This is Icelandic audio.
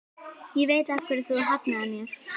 Ég veit af hverju þú hafnaðir mér.